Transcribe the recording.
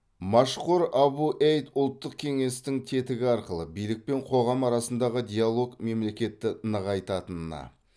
машхур абу эйд ұлттық кеңестің тетігі арқылы билік пен қоғам арасындағы диалог мемлекетті нығайтатынына